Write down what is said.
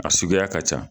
A suguya ka ca